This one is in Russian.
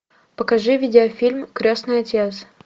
покажи видеофильм крестный отец